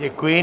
Děkuji.